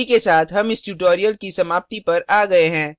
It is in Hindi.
इसी के साथ हम इस tutorial की समाप्ति पर आ गए हैं